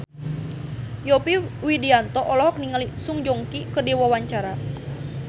Yovie Widianto olohok ningali Song Joong Ki keur diwawancara